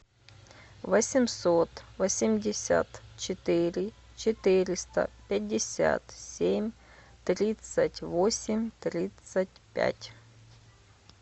восемьсот восемьдесят четыре четыреста пятьдесят семь тридцать восемь тридцать пять